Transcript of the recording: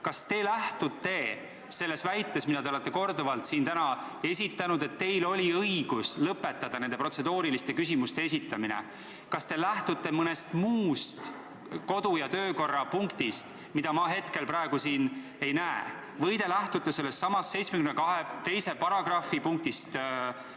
Kas te lähtute selle väite puhul, mida te olete täna siin korduvalt esitanud, et teil oli õigus lõpetada nende protseduuriliste küsimuste esitamine, mõnest muust kodu- ja töökorra seaduse sättest, mida ma praegu siin ei näe, või te lähtute sellestsamast § 72 lõikest 2?